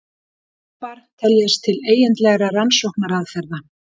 Rýnihópar teljast til eigindlegra rannsóknaraðferða.